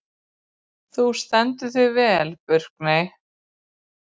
Þú stendur þig vel, Burkney!